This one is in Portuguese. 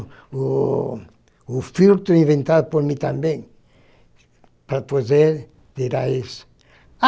Oo filtro inventado por mim também, para fazer virar isso.